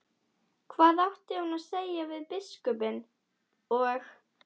Hvað átti hún að segja við biskupinn og